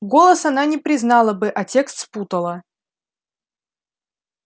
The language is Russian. голос она не признала бы а текст спутала